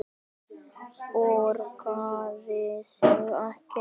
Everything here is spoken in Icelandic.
Borgar það sig ekki?